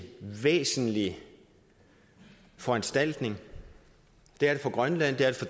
væsentlig foranstaltning for grønland for